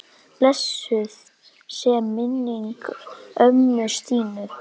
Blessuð sé minning ömmu Stínu.